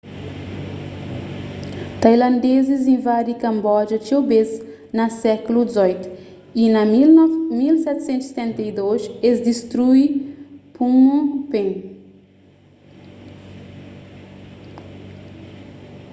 tailandezis invadi kamboja txeu bês na sékulu xviii y na 1772 es distrui phnom phen